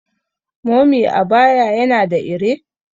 mummy abaya yana da ire?